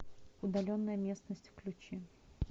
удаленная местность включи